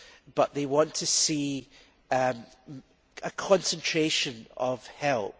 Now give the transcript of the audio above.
but that they want to see a concentration of help.